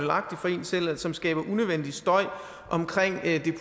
selv og som skaber unødvendig støj omkring det